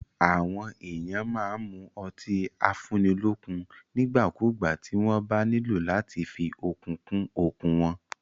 Àwọn èèyàn máa n mu ọtí afúnnilọ́kun nígbàkúgbà tí wọ́n bá nílò láti fí okun kún okun wọn